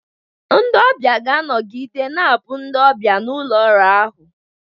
Ndị ọbịa ga-anọgide na-abụ ndị ọbịa na ụlọ ọrụ ahụ.